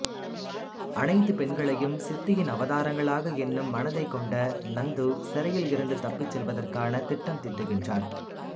அனைத்துப் பெண்களையும் சித்தியின் அவதாரங்களாக எண்ணும் மனதைக் கொண்ட நந்து சிறையிலிருந்து தப்பிச் செல்வதற்காக திட்டம் தீட்டுகின்றான்